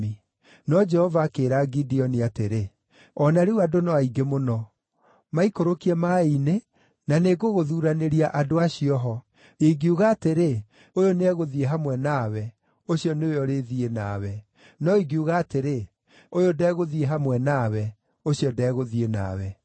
No Jehova akĩĩra Gideoni atĩrĩ, “O na rĩu andũ no aingĩ mũno. Maikũrũkie maaĩ-inĩ, na nĩngũgũthuuranĩria andũ acio ho. Ingiuga atĩrĩ, ‘Ũyũ nĩegũthiĩ hamwe nawe,’ ũcio nĩwe ũrĩthiĩ nawe; no ingiuga atĩrĩ, ‘Ũyũ ndegũthiĩ hamwe nawe,’ ũcio ndegũthiĩ nawe.”